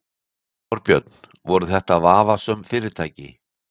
Þorbjörn: Voru þetta vafasöm fyrirtæki?